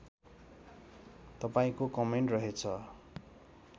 तपाईँको कमेन्ट रहेछ